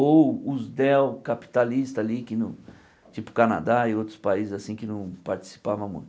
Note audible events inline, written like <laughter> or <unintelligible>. Ou os <unintelligible> capitalista ali que não, tipo Canadá e outros países assim que não participava muito.